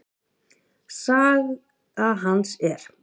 Saga hans er